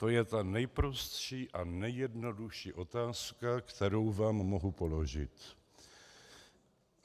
To je ta nejprostší a nejjednodušší otázka, kterou vám mohu položit.